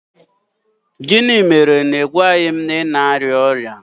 Gịnị mere na ị gwaghị m na ị na-arịa ọrịa?